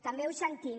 també ho sentim